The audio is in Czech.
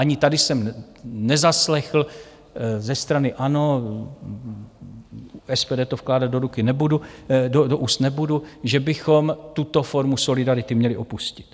Ani tady jsem nezaslechl ze strany ANO - SPD to vkládat do úst nebudu - že bychom tuto formu solidarity měli opustit.